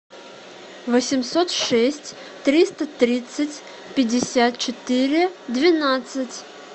восемьсот шесть триста тридцать пятьдесят четыре двенадцать